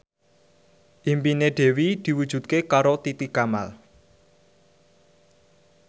impine Dewi diwujudke karo Titi Kamal